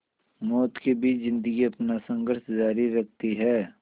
मौत के बीच ज़िंदगी अपना संघर्ष जारी रखती है